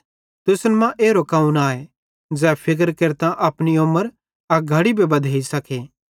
तुसन मां एरो कौन आए ज़ै फिक्र केरतां अपनी उमर अक घड़ी भी बधैई सकते